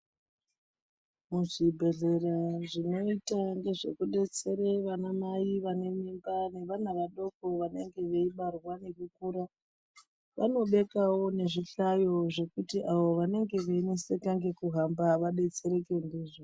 Kuzvibhedhlera zvinoita zvekudetsera ana mai ane mimba neana adoko vanenge veibarwa vachikura vanobekewo zvihlayo zvekuti vanenge vachinetseka nekuhamba vadetsereke ndizvo.